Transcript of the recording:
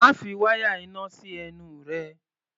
Má fi wáyà iná sí ẹnu rẹ!